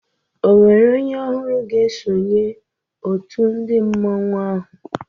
Ọ nwérè onye ọhụrụ ga-esonye òtù ndị mmanwu áhù?